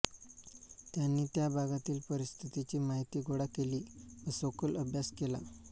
त्यांनी त्या भागातील परिस्थितीची माहिती गोळा केली व सखोल अभ्यास केला